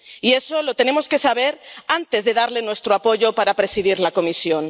Y eso lo tenemos que saber antes de darle nuestro apoyo para presidir la Comisión.